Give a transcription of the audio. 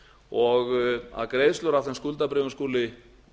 og að greiðslur af þeim skuldabréfum skuli